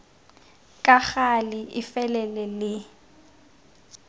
ka gale e felele le